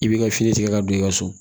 I b'i ka fini tigɛ ka don i ka so